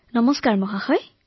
নমস্কাৰ মহোদয়